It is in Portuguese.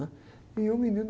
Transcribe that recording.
E eu, menino.